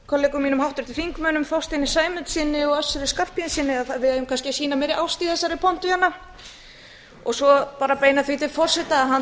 kollegum mínum háttvirtum þingmönnum þorsteini sæmundssyni og össur skarphéðinssyni við eigum kannski að sýna meiri ást í þessari pontu hérna svo beini ég því til forseta að hann